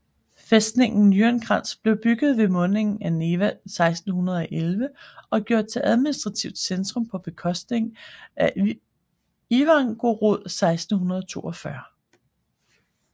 Fæstningen Nyenskans blev bygget ved mundingen af Neva 1611 og gjort til administrativt centrum på bekostning af Ivangorod 1642